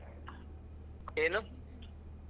ಏನು?